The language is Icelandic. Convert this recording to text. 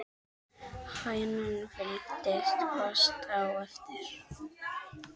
Hænan fylgdi fast á eftir.